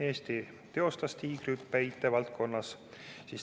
Eesti teostas tiigrihüppe IT-valdkonnas.